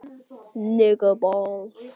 Mjög góð.